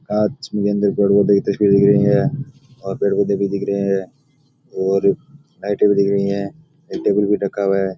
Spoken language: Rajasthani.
कांच में अंदर दिखढ़ी है पेड़ पौधे भी दिख रहे है और लाइट भी दिख रही है और एक टेबल भी रखा हुआ है।